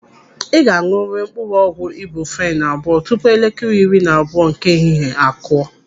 Ị ga-aṅụrịrị mkpụrụ ọgwụ ibuprofenu abụọ tupu elekere iri na abụọ nke ehihie akụọ!